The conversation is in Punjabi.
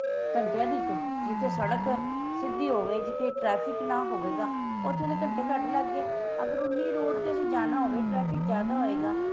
ਘੰਟਿਆਂ ਦੀ ਇੱਕ ਜਿਥੇ ਸੜਕ ਸਿੱਧੀ ਹੋਵੇ ਜਿਥੇ traffic ਨਾ ਹੋਵੇਗਾ ਉਥੇ ਤੇ ਘੰਟੇ ਘੱਟ ਲੱਗ ਗਏ ਅਗਰ ਉੰਨੀ road ਤੇ ਅਸੀਂ ਜਾਣਾ ਹੋਵੇ traffic ਜਿਆਦਾ ਹੋਵੇਗਾ